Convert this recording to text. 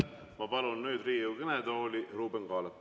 Ma palun Riigikogu kõnetooli Ruuben Kaalepi.